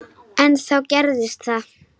En þá gerðist það.